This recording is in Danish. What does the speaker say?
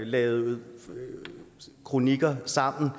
lavet kronikker sammen